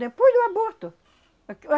Depois do aborto. A